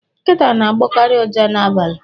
Nkịta na-agbọkarị ụja n'abalị.